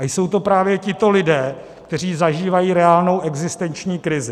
A jsou to právě tito lidé, kteří zažívají reálnou existenční krizi.